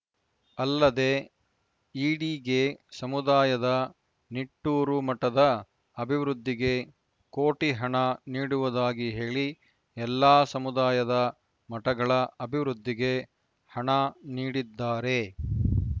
ಅಲ್ಲದೆ ಈಡಿಗೆ ಸಮುದಾಯದ ನಿಟ್ಟೂರು ಮಠದ ಅಭಿವೃದ್ಧಿಗೆ ಕೋಟಿ ಹಣ ನೀಡುವುದಾಗಿ ಹೇಳಿ ಎಲ್ಲಾ ಸಮುದಾಯದ ಮಠಗಳ ಅಭಿವೃದ್ಧಿಗೆ ಹಣ ನೀಡಿದ್ದಾರೆ